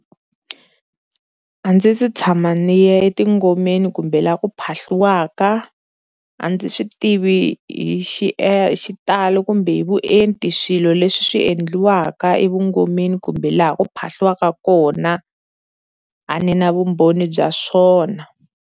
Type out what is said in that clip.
A ndzi se tshama ni ya etingomeni kumbe laha ku phahliwaka, a ndzi swi tivi hi xitalo kumbe hi vuenti swilo leswi swi endliwaka evungomeni kumbe laha ku phahliwaka kona, a ni na vumbhoni bya swona.